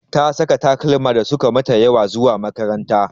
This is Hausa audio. Ta Sanya takalma da suka mata ƴawa zuwa makaranta.